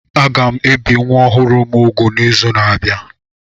Aga m ebi nwa ọhụrụ m úgwù n'izu na-abịa